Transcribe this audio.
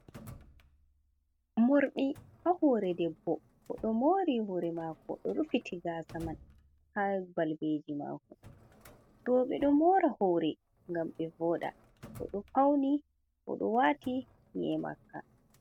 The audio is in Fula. Morɗi ha hore debbo oɗo mori hore mako, oɗo rufiti gasa man ha balbeji mako, roɓe ɗo mora hore ngam ɓe voɗa, oɗo fauni oɗo wati nƴi'e makka.